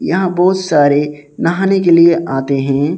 यहां बहोत सारे नहाने के लिए आते हैं।